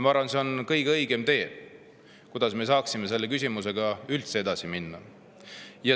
Ma arvan, et see on kõige õigem tee, kuidas me saaksime selle küsimusega üldse edasi minna.